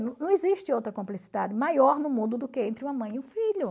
Não existe outra cumplicidade maior no mundo do que entre uma mãe e um filho.